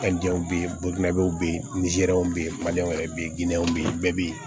be yen be yen nizɛriw be yen wɛrɛ be yen ginɛw be yen bɛɛ be yen